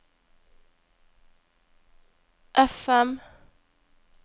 FM